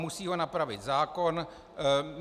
Musí ho napravit zákon.